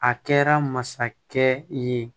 A kɛra masakɛ ye